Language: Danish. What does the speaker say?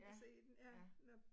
Ja, ja